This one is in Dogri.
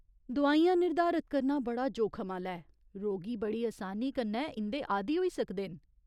दोआइयां निर्धारत करना बड़ा जोखम आह्‌ला ऐ , रोगी बड़ी असानी कन्नै इं'दे आद्दी होई सकदे न।